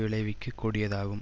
விளைவிக்க கூடியதாகும்